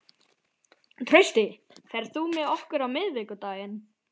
Trausti, ferð þú með okkur á miðvikudaginn?